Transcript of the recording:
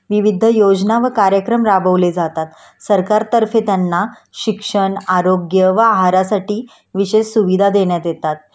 विविध योजना व कार्यक्रम राबवले जातात.सरकारतर्फे त्यांना शिक्षण आरोग्य व आहारासाठी विशेष सुविधा देण्यात येतात